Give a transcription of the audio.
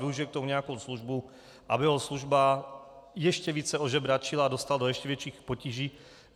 Využije k tomu nějakou službu, aby ho služba ještě více ožebračila, dostala do ještě větších potíží.